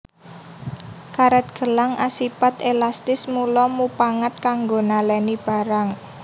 Karet gelang asipat elastis mula mupangat kanggo naleni barang